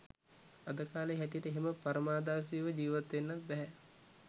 අද කාලේ හැටියට එහෙම පරමාදර්ශීව ජීවත් වෙන්නත් බැහැ